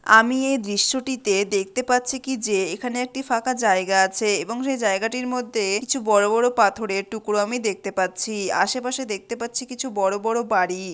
আমি এই দৃশ্যটিতে দেখতে পাচ্ছি কি যে এখানে একটি ফাঁকা জায়গা আছে এবং সে জায়গাটির মধ্যে কিছু বড়ো বড়ো পাথরের টুকরো আমি দেখতে পাচ্ছি আশেপাশে দেখতে পাচ্ছি কিছু বড়োবড়ো বাড়ি।